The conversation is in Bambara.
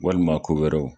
Walima ko wɛrɛw